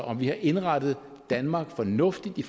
om vi har indrettet danmark fornuftigt i